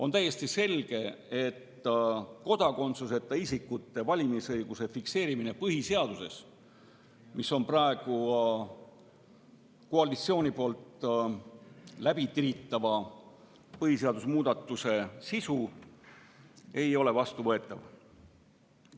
On täiesti selge, et kodakondsuseta isikute valimisõiguse fikseerimine põhiseaduses, mis on praegu koalitsiooni poolt läbitiritava põhiseaduse muudatuse sisu, ei ole vastuvõetav.